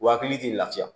Wa hakili tɛ lafiya